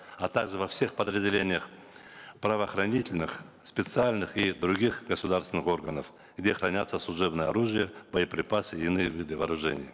а также во всех подразделениях правоохранительных специальных и других государственных органов где хранятся служебное оружие боеприпасы и иные виды вооружения